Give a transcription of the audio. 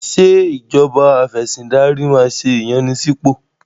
Ṣé ìjọba afẹ̀sìndarí máa ṣe ìyànsípò?